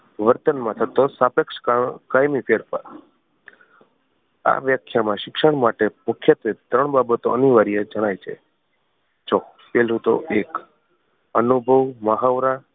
વર્તન માં થતો સ્તાપેક્ષ કા કાયમી ફેરફાર આ વ્યાખ્યા માં શિક્ષણ માટે મુખ્યત્વે ત્રણ બાબતો અનિવાર્ય જણાય છે જો પહેલું તો એક અનુભવ મહાવરા